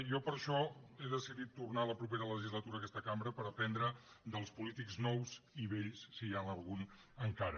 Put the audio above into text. jo per això he decidit tornar la propera legislatura a aquesta cambra per aprendre dels polítics nous i vells si n’hi ha algun encara